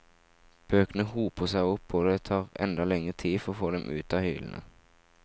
Bøkene hoper seg opp og det tar enda lengre tid å få dem ut i hyllene.